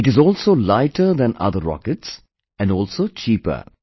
It is also lighter than other rockets, and also cheaper